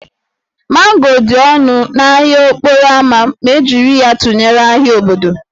Mango dị ọnụ n'ahịa okporo ámá ma e jiri ya tụnyere ahịa obodo